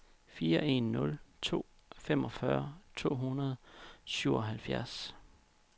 fire en nul to femogfyrre to hundrede og syvoghalvfjerds